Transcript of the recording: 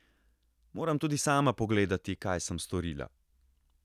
Moram tudi sama pogledati, kaj sem storila.